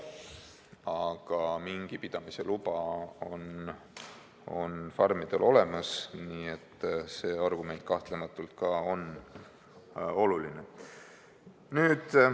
Aga mingipidamise luba on farmidel olemas, nii et see argument on kahtlematult ka oluline.